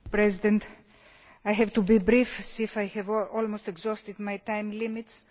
Mr President, I shall be brief as I have almost exhausted my time limits.